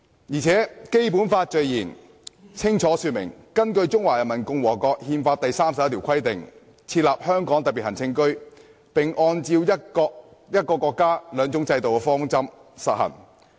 "而且，《基本法》的序言清楚說明，"根據中華人民共和國憲法第三十一條的規定，設立香港特別行政區，並按照'一個國家，兩種制度'的方針"實行。